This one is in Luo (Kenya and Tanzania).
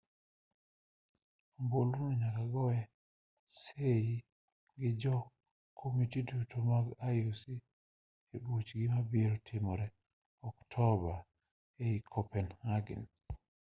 ombulu no nyaka goe sei gi jo komiti duto mag ioc e buchgi mabiro timore oktoba ei copenhagen